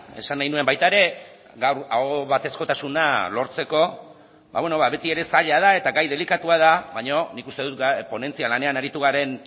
esan nahi nuen baita ere gaur ahobatezkotasuna lortzeko beti ere zaila da eta gai delikatua da baina nik uste dut ponentzia lanean aritu garen